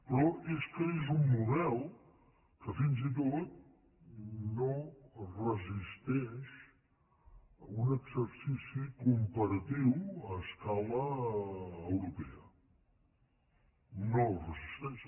però és que és un model que fins i tot no resisteix un exercici comparatiu a escala europea no el resis·teix